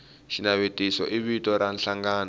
xinavetiso i vito ra nhlangano